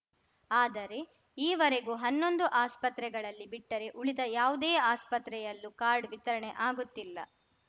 ಆದರೆ ಈವರೆಗೂ ಹನ್ನೊಂದು ಆಸ್ಪತ್ರೆಗಳಲ್ಲಿ ಬಿಟ್ಟರೆ ಉಳಿದ ಯಾವುದೇ ಆಸ್ಪತ್ರೆಯಲ್ಲೂ ಕಾರ್ಡ್‌ ವಿತರಣೆ ಆಗುತ್ತಿಲ್ಲ